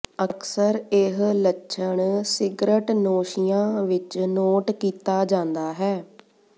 ਅਕਸਰ ਇਹ ਲੱਛਣ ਸਿਗਰਟਨੋਸ਼ੀਆਂ ਵਿੱਚ ਨੋਟ ਕੀਤਾ ਜਾਂਦਾ ਹੈ